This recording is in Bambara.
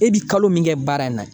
E bi kalo min kɛ baara in na